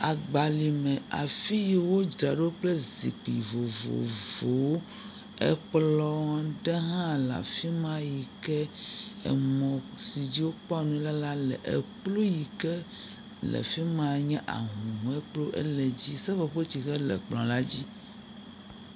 Agbalẽ me afi wodzraɖo kple nu vovovowo, ekplɔ aɖe hã le afi ma yike emɔ si dzi wokpɔɔ nu le la le, ekplu yike le fi ma nye ahuhɔe kplu ele dzi, seƒoƒotsihe le kplɔ la dzi.